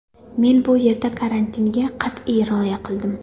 Men bu yerda karantinga qat’iy rioya qildim.